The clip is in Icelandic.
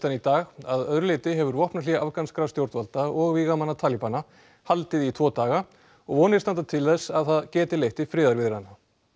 í dag að öðru leyti hefur vopnahlé afganskra stjórnvalda og vígamanna Talíbana haldið í tvo daga og vonir standa til þess að það geti leitt til friðarviðræðna